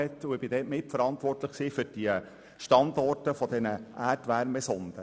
Ich war dort mitverantwortlich für die Standorte der Erdwärmesonden.